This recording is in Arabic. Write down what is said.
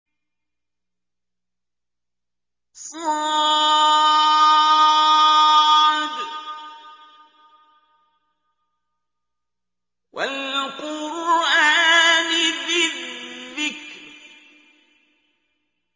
ص ۚ وَالْقُرْآنِ ذِي الذِّكْرِ